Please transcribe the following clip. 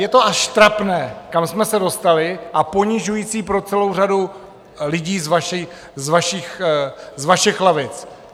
Je to až trapné, kam jsme se dostali, a ponižující pro celou řadu lidí z vašich lavic.